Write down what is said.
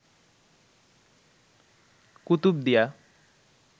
Kutubdia